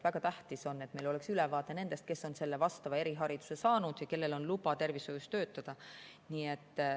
Väga tähtis on, et meil oleks ülevaade nendest, kes on selle erihariduse saanud ja kellel on luba tervishoius töötada.